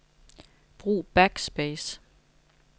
Brug backspace.